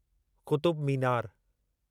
Qutub Minar